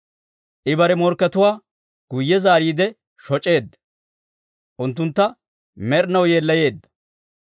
I bare morkkatuwaa guyye zaariide shoc'eedda; unttuntta med'inaw yeellayeedda.